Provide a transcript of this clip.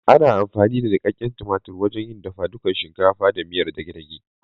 Ana amfani da nuƙaƙƙen tumatur wajen yin dafadukar shinkafa ko miyar dage dage.